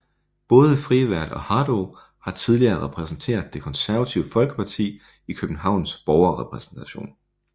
Både Frevert og Haddou har tidligere repræsenteret Det Konservative Folkeparti i Københavns Borgerrepræsentation